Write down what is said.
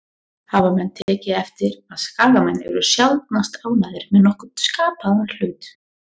Hafa menn tekið eftir að Skagamenn eru sjaldnast ánægðir með nokkurn skapaðan hlut?